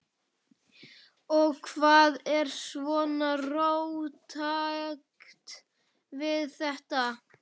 Og hvað er svona róttækt við þetta?